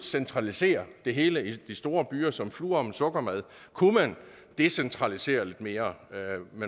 centralisere det hele i store byer som fluer om en sukkermad kunne man decentralisere lidt mere